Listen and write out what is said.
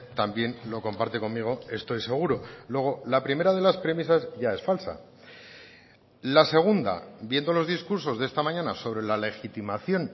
también lo comparte conmigo estoy seguro luego la primera de las premisas ya es falsa la segunda viendo los discursos de esta mañana sobre la legitimación